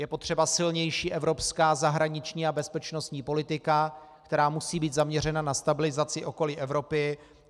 Je potřeba silnější evropská zahraniční a bezpečnostní politika, která musí být zaměřena na stabilizaci okolí Evropy.